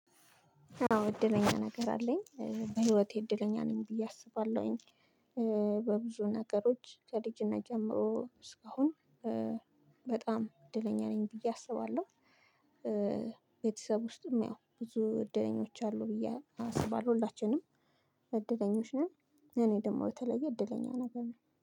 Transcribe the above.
አዎ እድለኛ ነገር አለኝ በህይወቴ እድለኛ ነኝ ብዬ አስባለሁኝ። በብዙ ነገሮች ከልጅነት ጀምሮ እስካሁን። በጣም እድለኛ ነኝ ብዬ አስባለሁ። ቤተሰብ ውስጥም ያው ብዙ እድለኞች አሉ ብዬ አስባለሁ ሁላችንም እድለኞች ነን። እኔ ደግሞ የተለየ እድለኛ ነገር ነኝ